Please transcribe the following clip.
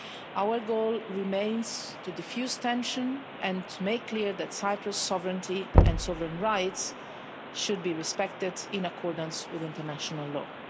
Our goal remains to defuse tension and to make clear that Cyprus' sovereignty and sovereign rights should be respected in accordance with international law.